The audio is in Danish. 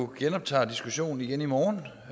genoptager diskussionen igen i morgen